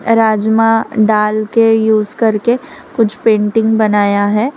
राजमा डाल के यूज़ करके कुछ पेंटिंग बनाया है।